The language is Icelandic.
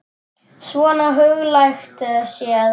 Svona huglægt séð.